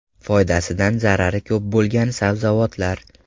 Foydasidan zarari ko‘p bo‘lgan sabzavotlar.